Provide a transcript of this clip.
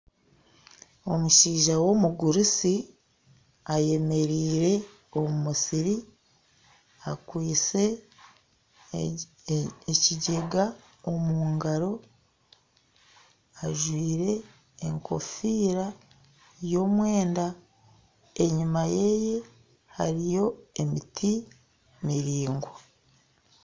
Omushaija w'omugurusi ayemereire omu musiri akwitse ekigyega omu ngaro, ajwire enkofiira y'omwenda, enyima ye hariyo emiti miringwa